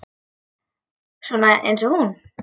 Svona eins og hún?